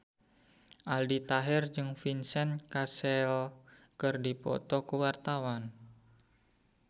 Aldi Taher jeung Vincent Cassel keur dipoto ku wartawan